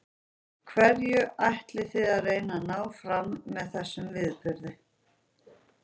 Hverju ætlið þið að reyna að ná fram með þessum viðburði?